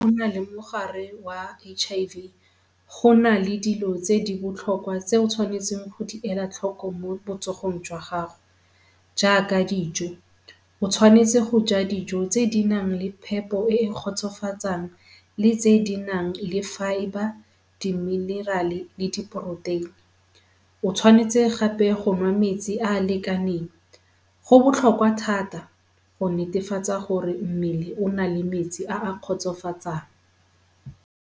Go na le mogare wa H_I_V go na le dilo tse di botlhokwa tse o tshwanetseng go di ela tlhoko mo botsogong jwa gago jaaka dijo. O tshwanetse go ja dijo tse di nang le phepo e e kgotsofatsang le tse di nang le fibre, di-mineral-e, le di-protein. O tshwanetse gape go nwa metsi a a lekaneng. Go botlhokwa thata go netefatsa gore mmele o na le metsi a a kgotsofatsang.